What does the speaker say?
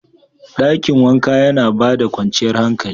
Dakin wanka yana ba da kwanciyar hankali.